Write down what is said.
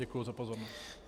Děkuji za pozornost.